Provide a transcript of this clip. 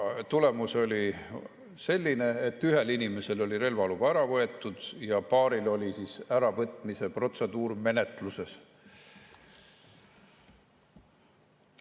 Tulemus oli selline, et ühelt inimeselt oli relvaluba ära võetud ja paaril oli äravõtmise protseduur menetluses.